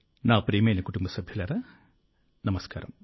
నా ప్రియమైన కుటుంబ సభ్యులారా నమస్కారం